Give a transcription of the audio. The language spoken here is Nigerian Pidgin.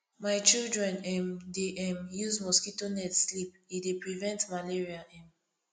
my children um dey um use mosquito net sleep e dey prevent malaria um